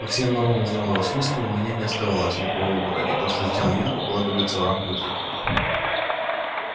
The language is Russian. по всем нормам здравого смысла у меня не оставалось никакого выбора и то что сделал я укладывается в рамки закона